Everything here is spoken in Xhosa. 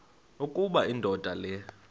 ukuba indoda le